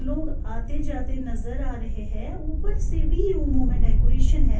. میں ڈیکوریشن لوگ آتے جاتے نظر آ رہے ہیں اپر سے بھی روموں ہیں